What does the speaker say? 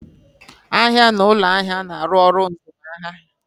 Ahịa na ụlọ ahịa na-arụ ọrụ mzụmahịa.